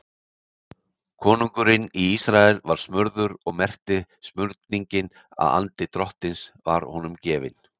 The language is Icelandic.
Konungurinn í Ísrael var smurður og merkti smurningin að andi Drottins var honum gefinn.